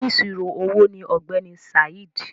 “Onísirò owó” ni ọ̀gbẹ́ni Saheed.